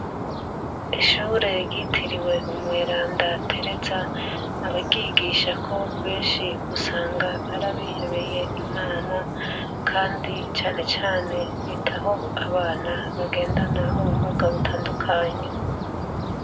Ishure ryitiriwe Umweranda Tereza, abaryigishako benshi usanga ar'abihebeye Imana kandi cane cane bitaho abana bagendana ubumuga butandukanye.